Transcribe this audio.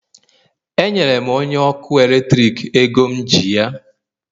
Enyere m onye ọkụ eletrik ego m ji ya